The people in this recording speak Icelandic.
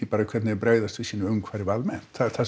hvernig þeir bregðast við sínu umhverfi almennt það er það